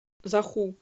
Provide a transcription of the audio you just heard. заху